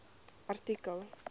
artikel